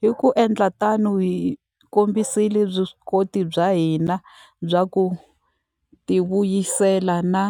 Hi ku endla tano, hi kombisile vuswikoti bya hina bya ku tivuyisela na